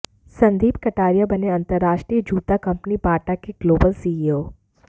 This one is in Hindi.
संदीप कटारिया बने अंतरराष्ट्रीय जूता कंपनी बाटा के ग्लोबल सीईओ